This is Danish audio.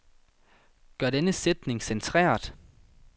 Gør denne sætning centreret.